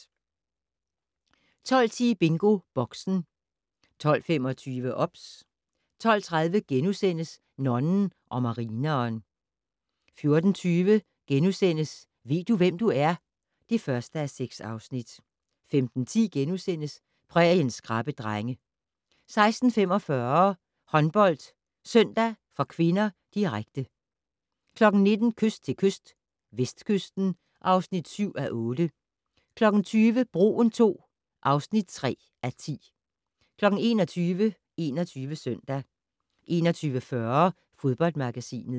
12:10: BingoBoxen 12:25: OBS 12:30: Nonnen og marineren * 14:20: Ved du, hvem du er? (1:6)* 15:10: Præriens skrappe drenge * 16:45: HåndboldSøndag (k), direkte 19:00: Kyst til kyst - Vestkysten (7:8) 20:00: Broen II (3:10) 21:00: 21 Søndag 21:40: Fodboldmagasinet